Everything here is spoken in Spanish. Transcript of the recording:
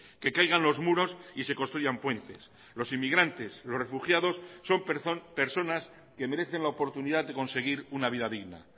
que caigan los muros y se construyan puentes los inmigrantes los refugiados son personas que merecen la oportunidad de conseguir una vida digna